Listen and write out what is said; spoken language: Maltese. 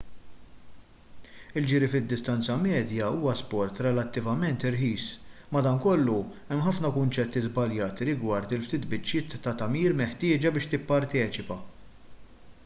il-ġiri fid-distanza medja huwa sport relattivament irħis madankollu hemm ħafna kunċetti żbaljati rigward il-ftit biċċiet ta' tagħmir meħtieġa biex tipparteċipa